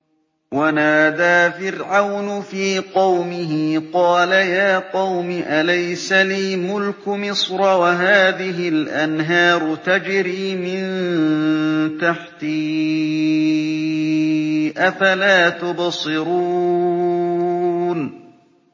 وَنَادَىٰ فِرْعَوْنُ فِي قَوْمِهِ قَالَ يَا قَوْمِ أَلَيْسَ لِي مُلْكُ مِصْرَ وَهَٰذِهِ الْأَنْهَارُ تَجْرِي مِن تَحْتِي ۖ أَفَلَا تُبْصِرُونَ